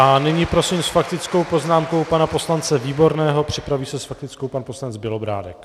A nyní prosím s faktickou poznámkou pana poslance Výborného, připraví se s faktickou pan poslanec Bělobrádek.